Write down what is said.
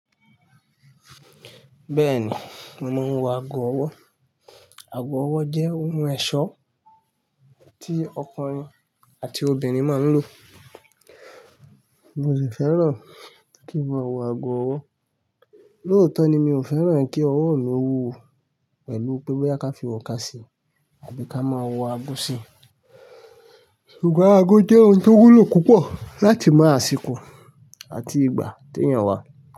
Bẹ́ẹ̀ ni, mómò ń wọ ago ọwọ́. Ago ọwọ́ jẹ́ ohun ẹ̀ṣọ́ tí ọkùnrin àti obìnrin máa ń lò. Mì fẹ́ràn kí mo wọ ago ọwọ́. Lótọ́ ni mi ò fẹ́ràn kí ọwọ́ mi wúwo pẹ̀lú pẹ́ boya ka fi oká sí, àbí ká máa wọ ago sí i. Sugbon ago jẹ́ ohun tó wúlò púpọ̀ láti mọ àsìkò àti ìgbà tí èèyàn wá.